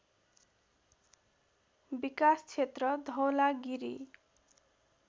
विकास क्षेत्र धवलागिरी